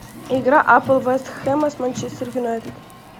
игра апл вест хэма с манчестер юнайтед